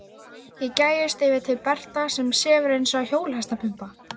Ég gægist yfir til Berta sem sefur eins og hjólhestapumpa.